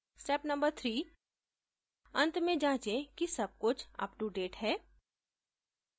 step no 3: अंत में जाँचें कि सब कुछ अपnoडेट है